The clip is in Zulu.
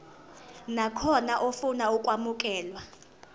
nakhona ofuna ukwamukelwa